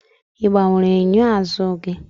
ị gbanwere enyo azụ gị?